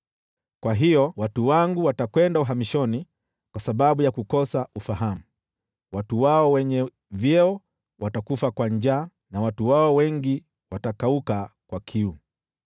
Kwa hiyo watu wangu watakwenda uhamishoni kwa sababu ya kukosa ufahamu, watu wao wenye vyeo watakufa kwa njaa na watu wao wengi watakauka kwa kiu.